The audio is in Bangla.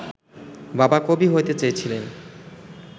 বাবা কবি হতে চেয়েছিলেন